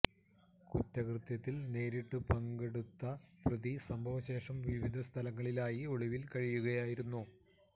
കുറ്റകൃത്യത്തിൽ നേരിട്ടു പങ്കെടുത്ത പ്രതി സംഭവ ശേഷം വിവിധ സ്ഥലങ്ങളിലായി ഒളിവിൽ കഴിയുകയായിരുന്നു